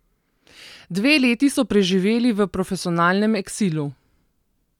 Dve leti so preživeli v profesionalnem eksilu.